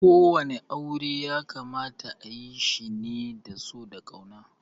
Ko wani aure ya kamata ayi shi ne da so da yarda.